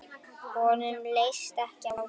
Honum leist ekki á það.